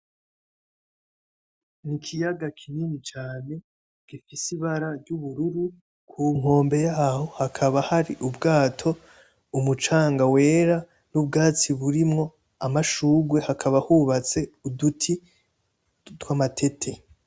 Ni ikiyaga kinini cane gifise ibara ry'ubururu ku nkombe yaho hakaba hari ubwato umucanga wera n'ubwatsi burimwo amashugwe hakaba hubatse uduti tw'amatete.